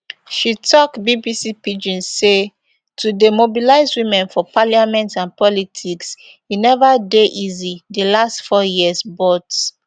she tok bbc pidgin say to dey mobilize women for parliament and politics e neva dey easy di last four years but